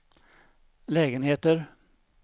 lägenheter